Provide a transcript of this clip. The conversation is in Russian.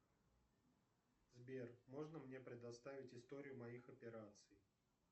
сбер можно мне предоставить историю моих операций